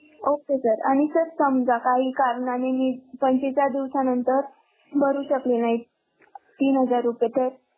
Okay sir आणि जर समजा काही कारणाने मी पंचेचाळीस दिवसा नंतर भरू शकले नाही तीन हजार रुपये तर?